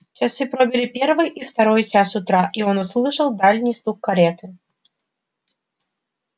часы пробили первый и второй час утра и он услышал дальний стук кареты